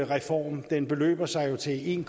reform den beløber sig til en